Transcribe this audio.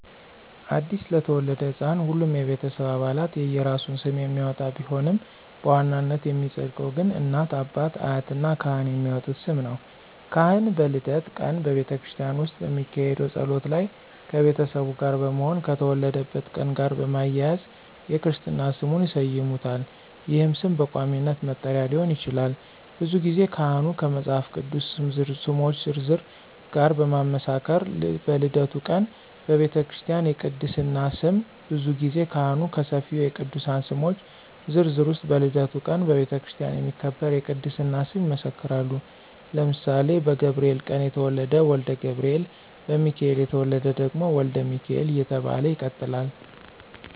አዲስ ለተወለደ ሕፃን ሁሉም የቤተሰብ አባላት የየራሱን ስም የሚያወጣ ቢሆንም በዋናነት የሚፀድቀው ግን እናት፣ አባት፣ አያት እና ካህን የሚያወጡት ስም ነው። ካህን በልደት ቀን በቤተክርስቲያን ውስጥ በሚካሄደው ጸሎት ላይ ከቤተሰቡ ጋር በመሆን ከተወለደበት ቀን ጋር በማያያዝ የክርስትና ስሙን ይሰይሙታል ይህም ስም በቋሚነት መጠሪያ ሊሆን ይችላል። ብዙ ጊዜ ካህኑ ከመፃፍ ቅዱስ ስሞች ዝርዝር ጋር በማመሳከር በልደቱ ቀን በቤተክርስቲያ የቅድስና ስም ብዙ ጊዜ ካህኑ ከሰፊው የቅዱሳን ስሞች ዝርዝር ውስጥ በልደቱ ቀን በቤተክርስቲያን የሚከበር የቅድስና ስም ይመሰክራሉ ለምሳሌ በገብርኤል ቀን የተወለደ ወልደ ገብርኤል፣ በሚካኤል የተወለደ ደግሞ ወልደ ሚካኤል እየተባለ ይቀጥላለ።